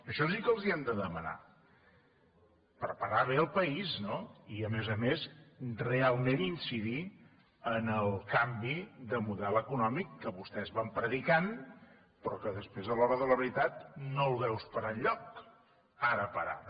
això sí que els ho hem de demanar preparar bé el país i a més a més realment incidir en el canvi de model econòmic que vostès van predicant però que després a l’hora de la veritat no el veus per enlloc ara per ara